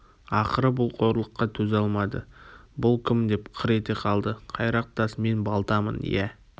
ақыры бұл қорлыққа төзе алмады бұл кім деп қыр ете қалды қайрақ тас мен балтамын иә